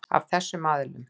Af þessum aðilum.